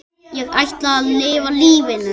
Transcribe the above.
Ég ætla að lifa lífinu.